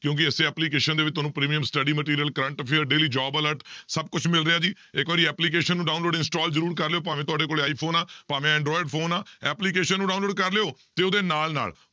ਕਿਉਂਕਿ ਇਸੇ application ਦੇ ਵਿੱਚ ਤੁਹਾਨੂੰ premium study material, current affair, daily job alert ਸਭ ਕੁਛ ਮਿਲ ਰਿਹਾ ਜੀ, ਇੱਕ ਵਾਰੀ application ਨੂੰ download, install ਜ਼ਰੂਰ ਕਰ ਲਇਓ ਭਾਵੇਂ ਤੁਹਾਡੇ ਕੋਲ ਆਈਫ਼ੋਨ ਆਂ ਭਾਵੇਂ ਐਡਰੋਇਡ phone ਆਂ application ਨੂੰ download ਕਰ ਲਇਓ ਤੇ ਉਹਦੇ ਨਾਲ ਨਾਲ